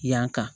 Yan ka